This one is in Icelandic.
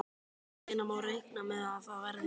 Hvenær má reikna með að það verði?